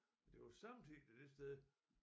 Men det var samtidig det sted